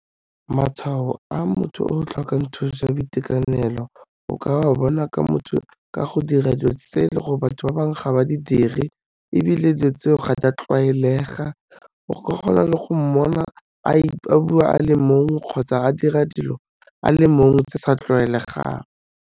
Matshwao a motho o tlhokang thuso ya boitekanelo o ka wa bona ka motho ka go dira dilo tse le gore batho ba bangwe ga ba di dire ebile dilo tseo ga di a tlwaelega o ka kgona le go mmona a bua a le mongwe kgotsa a dira dilo a le mongwe tse sa tlwaelegang.